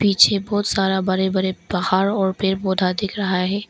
पीछे बहोत सारा बड़े बड़े पहाड़ और पेड़ पौधा दिख रहा है।